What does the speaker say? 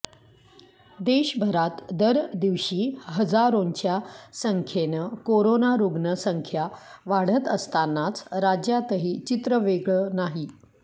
देशभरात दर दिवशी हजारोंच्या संख्येनं कोरोना रुग्ण संख्या वाढत असतानाच राज्यातही चित्र वेगळं नाही